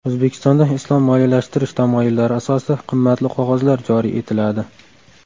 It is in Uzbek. O‘zbekistonda islom moliyalashtirish tamoyillari asosida qimmatli qog‘ozlar joriy etiladi.